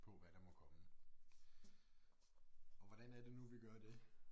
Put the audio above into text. På hvad der må komme og hvordan er det nu vi gør det?